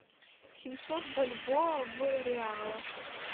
семьсот бальбоа в реалах